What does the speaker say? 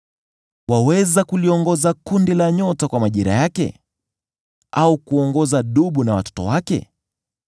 Waweza kuyaongoza makundi ya nyota kwa majira yake, au kuongoza Dubu na watoto wake?